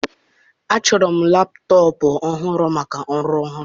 Achọrọ m laptọọpụ ọhụrụ maka ọrụ ọhụrụ m.